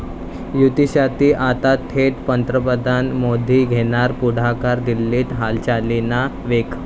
युतीसाठी आता थेट पंतप्रधान मोदी घेणार पुढाकार, दिल्लीत हालचालींना वेग